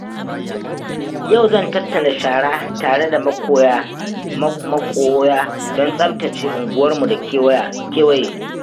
Yau zan tattara shara tare da maƙoya don tsaftace unguwarmu da kewaye.